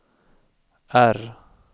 R